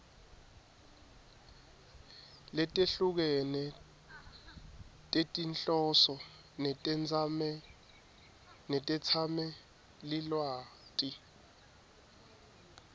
letehlukene tetinhloso netetsamelilwati